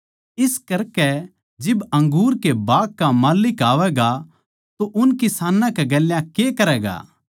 इस करकै जिब अंगूर के बाग का माल्लिक आवैगा तो उन किसानां कै गेल्या के करैगा